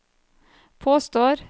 påstår